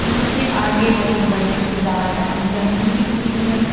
उसके आगे बहुत बड़ी सी गार्डन जमीन है खुली जमीन--